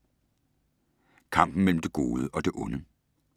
Kampen mellem det gode og det onde